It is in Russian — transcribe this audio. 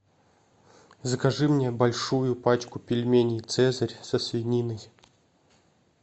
закажи мне большую пачку пельменей цезарь со свининой